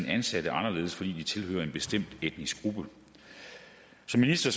ansatte anderledes fordi de tilhører en bestemt etnisk gruppe som minister